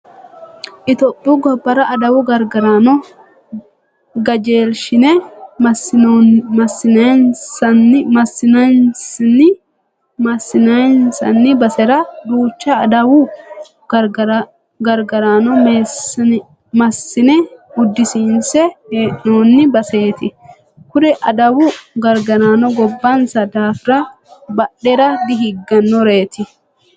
Itiyophiyu gobbara adawu gargaraano gajeelshine maassiinsanni basera duucha adawu gargaraano maassiinse uddisiinse hee'noonni baseeti. Kuri adawu agaraano gobbansa daafira badhera dihiggannoreeti.